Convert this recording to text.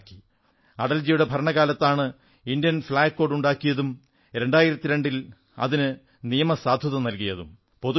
ഒരു സ്വാതന്ത്ര്യം കൂടി അടൽജിയുടെ ഭരണകാലത്താണ് ഇന്ത്യൻ ഫ്ളാഗ് കോഡ് ഉണ്ടാക്കിയതും 2002 ൽ അതിന് ആധികാരികത നല്കിയതും